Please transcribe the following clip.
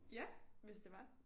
Ja hvis det var